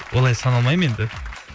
олай санамаймын енді